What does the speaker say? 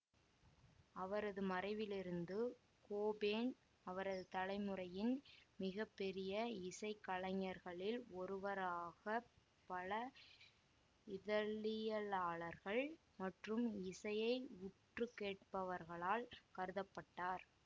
அவரது மறைவிலிருந்து கோபேன் அவரது தலைமுறையின் மிக பெரிய இசைக்கலைஞர்களில் ஒருவராகப் பல இதழியலாளர்கள் மற்றும் இசையை உற்று கேட்பவர்களால் கருத பட்டார்